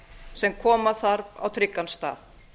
sem koma þarf á tryggan stað